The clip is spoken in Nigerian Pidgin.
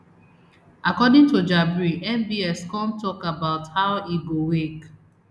according to jabri mbs come tok about how e go wake